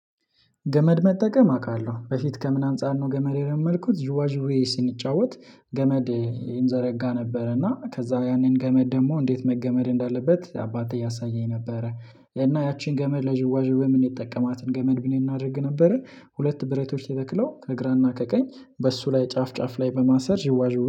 ገመድ መጠቀም አውቃለሁ በፊት ከምን አንፃር ነው ገመድ የለመድኩት ዥዋዥዌ ስንጫወት ገመድ እንዘረጋ ነበረ እና ከዛ ያንን ገመድ ደግሞ እንዴት መገመድ እንዳለበት አባቴ ያሳየኝ ነበረ። እና ያቺን ገመድ ለዥውዋዥዌ ምንጠቀማትን ገመድ ምን እናድርግ ነበረ ሁለት ብረቶች የተክለው ከግራና ከቀኝ በሱ ላይ ጫፍ ጫፍ ላይ በማሰር ይዋዥዌ